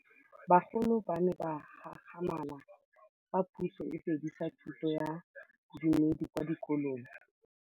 Bagolo ba ne ba gakgamala fa Pusô e fedisa thutô ya Bodumedi kwa dikolong.